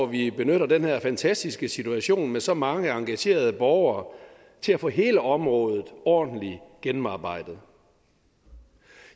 vi benytter den her fantastiske situation med så mange engagerede borgere til at få hele området ordentligt gennemarbejdet